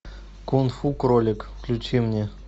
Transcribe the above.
кунг фу кролик включи мне